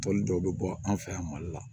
Tɔli dɔw bɛ bɔ an fɛ yan mali la